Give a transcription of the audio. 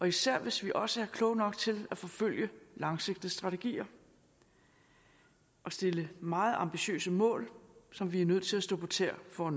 især hvis vi også er kloge nok til at forfølge langsigtede strategier og stille meget ambitiøse mål som vi er nødt til at stå på tæer for at